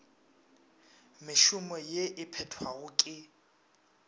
mešomo ye e phethwago ke